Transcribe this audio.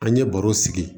An ye baro sigi